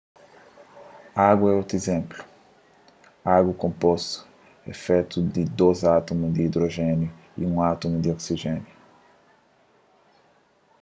agu é otu izénplu agu konpostu é fetu di dôs átumu di idrojéniu y un átumu di oksijéniu